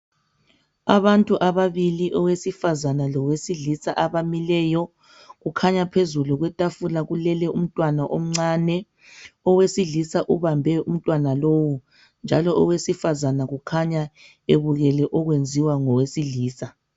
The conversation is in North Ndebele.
Abantu ababili, owesifazana lowesilisa abamileyo. Kukhanya phezulu kwetafula kulele umntwana omncane. Owesilisa ubambe umntwana lowu njalo owesifazana kukhanya ebukele okwenziwa ngowesilisa.